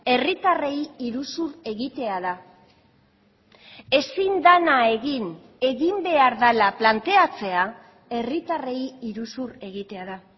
herritarrei iruzur egitea da ezin dena egin egin behar dela planteatzea herritarrei iruzur egitea da